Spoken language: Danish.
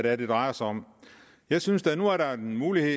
er det drejer sig om jeg synes da at nu er der en mulighed